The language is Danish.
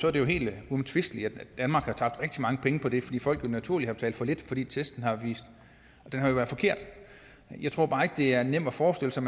er det jo helt uomtvisteligt at danmark har tabt rigtig mange penge på det fordi folk naturligvis har betalt for lidt fordi testen har været forkert jeg tror bare ikke det er nemt at forestille sig